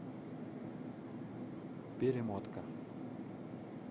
перемотка